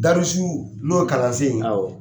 Darisu n'o kalansen ye